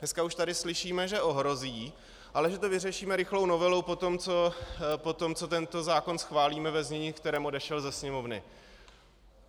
Dneska už tady slyšíme, že ohrozí, ale že to vyřešíme rychlou novelou potom, co tento zákon schválíme ve znění, v kterém odešel ze Sněmovny.